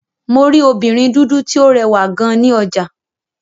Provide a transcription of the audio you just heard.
Mo rí obìnrin dúdú tí ó rẹwà gan ní ọjà.